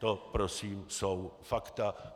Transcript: To prosím jsou fakta.